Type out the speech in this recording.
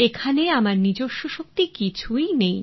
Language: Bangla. এখানে আমার নিজস্ব শক্তি কিছুই নেই